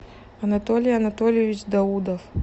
анатолий анатольевич даудов